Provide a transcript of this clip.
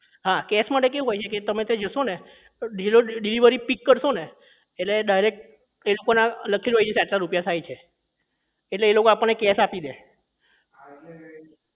હા cash માટે કેવું હોય છે કે તમે ત્યાં જશો ને deli delivery pick કરશો ને એટલે direct ના આટલા રૂપિયા થાય છે એટલે એ લોકો આપણને cash આપી દે